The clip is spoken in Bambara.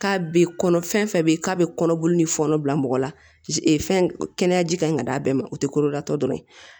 K'a bɛ kɔnɔ fɛn fɛn bɛ yen k'a bɛ kɔnɔboli ni fɔnɔ bila mɔgɔ la fɛn kɛnɛya ji kan ka d'a bɛɛ ma o tɛ koda tɔ dɔrɔn ye